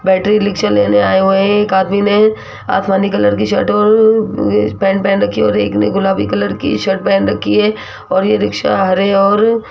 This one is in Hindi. बैटरी रिक्शा लेने आए हुए हैं एक आदमी ने आसमानी कलर की शर्ट और पैंट पहन रखी है और एक ने गुलाबी कलर की शर्ट पहन रखी है और यह रिक्शा हरे और --